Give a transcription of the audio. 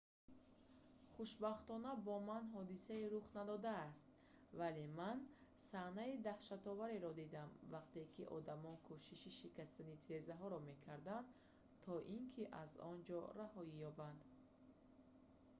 хушбахтона бо ман ҳодисае рух надодааст вале ман саҳнаи даҳшатовареро дидам вақте ки одамон кӯшиши шикастани тирезаҳоро мекарданд то ин ки аз он ҷо раҳоӣ ёбанд